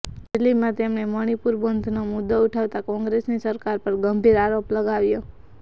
રેલીમાં તેમણે મણિપુર બંધનો મુદ્દો ઉઠાવતા કોંગ્રેસની સરકાર પર ગંભીર આરોપ લગાવ્યો